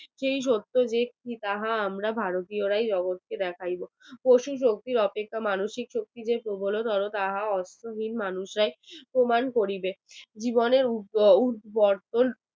সেই সত্য যে যাহা আমরা ভারতীয়রা জগতকে দেখায় প্রচুর শক্তির অপেক্ষা মানুষের প্রবলতরম যাহা প্রবীণ মানুষরাই প্রমাণ করিবে জীবনের অটল